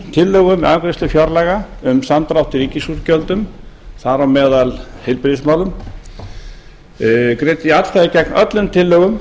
tillögum við afgreiðslu fjárlaga um samdrátt í ríkisútgjöldum þar á meðal heilbrigðismálum greiddi atkvæði gegn öllum tillögum